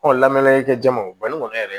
lamɛnikɛ jɛman o bali kɔni yɛrɛ